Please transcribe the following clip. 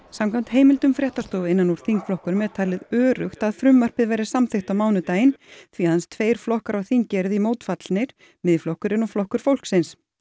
samkvæmt heimildum fréttastofu innan úr þingflokkunum er talið öruggt að frumvarpið verði samþykkt á mánudaginn því aðeins tveir flokkar á þingi eru því mótfallnir Miðflokkurinn og Flokkur fólksins